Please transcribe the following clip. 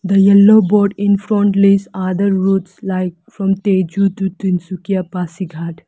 The yellow board in front list other routes like from Tezu to Tinsukia Pasighat.